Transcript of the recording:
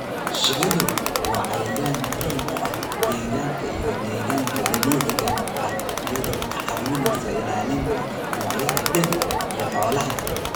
Shinnidu waa cayayaan muhiim u ah deegaanka iyo deegaanka dabiiciga ah iyadoo ka caawinaysa ilaalinta noocyada dhirta iyo xoolaha.